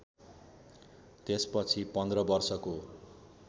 त्यसपछि पन्ध्र वर्षको